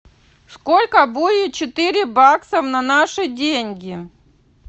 сколько будет четыре бакса на наши деньги